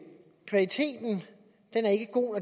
er god